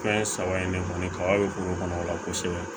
Fɛn saba in ne kɔni kaba bɛ kungo kɔnɔ o la kosɛbɛ